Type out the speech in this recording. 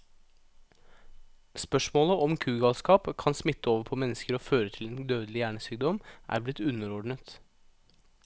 Spørsmålet om kugalskap kan smitte over på mennesker og føre til en dødelig hjernesykdom, er blitt underordnet.